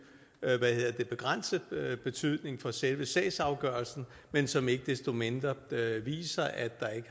hvad hedder det begrænset betydning for selve sagsafgørelsen men som ikke desto mindre viser at